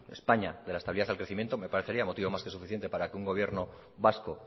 españa de la estabilidad al crecimiento me parecería motivo más que suficiente para que un gobierno vasco